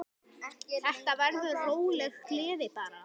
Þetta verður róleg gleði bara.